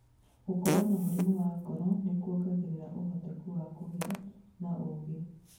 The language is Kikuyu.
Gũkorũo na mũrimũ wa ngoro nĩ kwongereraga ũhotekeku wa kũgĩa na ũngĩ.